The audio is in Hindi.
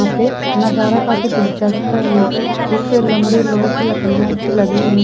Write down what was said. यहां पर नजर काफी दिलचस्प है यहां पे एक लंबे लोहे की लकडिया अच्छी लगी हुई--